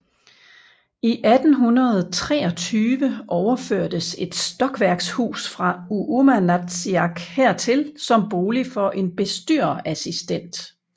I 1823 overførtes et stokværkshus fra Uummanatsiaq hertil som bolig for en bestyrerassistent